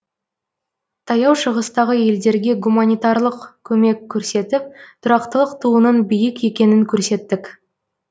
таяу шығыстағы елдерге гуманитарлық көмек көрсетіп тұрақтылық туының биік екенін көрсеттік